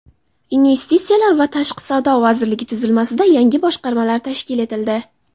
Investitsiyalar va tashqi savdo vazirligi tuzilmasida yangi boshqarmalar tashkil etildi.